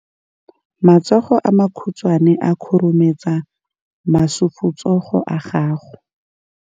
Matsogo a makhutshwane a khurumetsa masufutsogo a gago.